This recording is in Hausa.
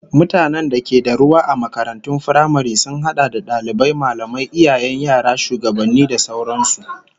Mutanen da ke da ruwa a makarantun firamare sun hada da dalibai, mallamai, iyayen yara, shugabanni da sauran su